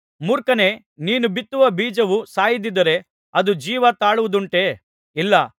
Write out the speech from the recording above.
ಮೂರ್ಖನೇ ನೀನು ಬಿತ್ತುವ ಬೀಜವು ಸಾಯದಿದ್ದರೆ ಅದು ಜೀವ ತಾಳುವುದುಂಟೆ ಇಲ್ಲ